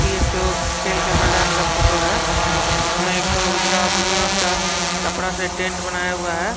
यह एक ठो खेल के मैदान का फोटो है । इसमें एक ठो उजाला ब्लू रंग का कपड़ा से टेंट बनाया हुआ है ।